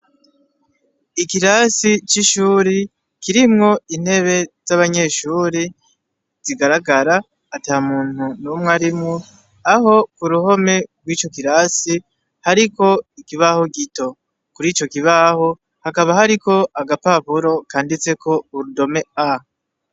Ikirasi c' ishuri kirimwo intebe z' abanyeshuri zigaragara atamuntu numwe arimwo aho ku ruhome bw' ico kirasi hariko ikibaho gito kuri ico kibaho hakaba hariko agapapuro kanditseko urudome A.